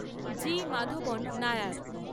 জি Madhavan Nair